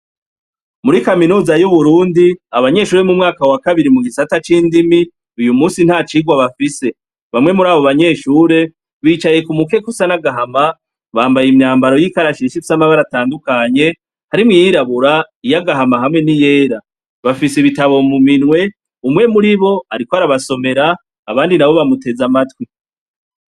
Muri kaminoza y'uburundi abanyeshure mu mwaka wa kabiri mu gisata c'indimi uyu musi nta cirwa bafise bamwe muri abo banyeshure bicaye ku mukekusa n'agahama bambaye imyambaro y'ikarashinshis'amagara atandukanye harimwo iyirabura iyoagahama hamwe ni yera bafise ibitabo muminwe umwe muri bo ko arabasomera abandi na bo bamuteza amatwi.